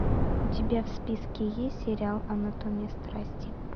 у тебя в списке есть сериал анатомия страсти